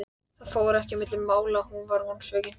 Það fór ekki á milli mála að hún var vonsvikin.